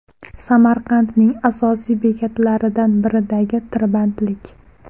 Samarqandning asosiy bekatlaridan biridagi tirbandlik .